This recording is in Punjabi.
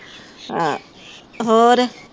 ਹਾਂ ਹੋਰ